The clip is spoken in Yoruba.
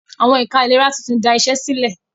Àwọn ẹ̀ka ìlera tún tí da iṣé sílẹ̀.